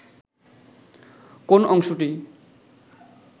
কোন অংশটি